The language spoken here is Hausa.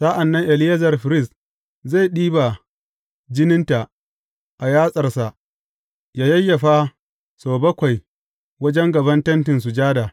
Sa’an nan Eleyazar firist zai ɗiba jininta a yatsarsa, yă yayyafa sau bakwai wajen gaban Tentin Sujada.